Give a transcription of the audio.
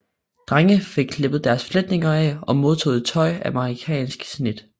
Drenge fik klippet deres fletninger af og modtog tøj af amerikansk snit